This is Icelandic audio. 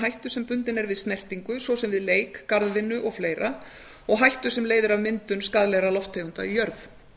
hættu sem bundin er við snertingu svo sem við leik eða garðvinnu og hættu sem leiðir af myndun skaðlegra lofttegunda í jörð